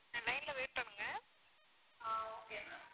ah okay ma'am